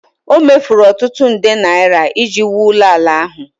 O mefuru ọtụtụ nde naira iji wuo ụlọala ahụ